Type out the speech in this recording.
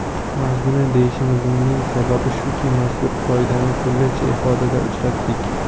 Mazmuni deyishimizning sababi shuki, mazkur qoidani turlicha ifodada uchratdik.